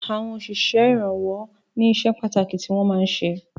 Àwọn òsísè ìrànwọ́ ní iṣẹ pàtàkì tí wọn máa ń ṣe